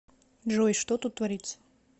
джой что тут творится